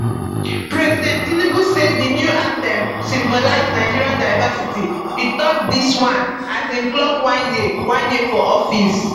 president tinubu say di new anthem symbolize nigeria diversity e tok dis one as im clock one year one year for for office